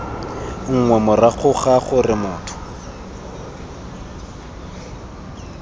nngwe morago ga gore motho